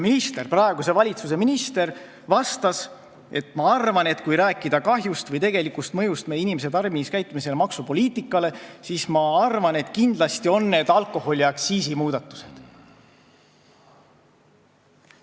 Minister, praeguse valitsuse minister vastas, et ta arvab, et kui rääkida kahjust või tegelikult mõjust meie inimeste tarbimiskäitumisele ja maksupoliitikale, siis kindlasti on need alkoholiaktsiisi muudatused.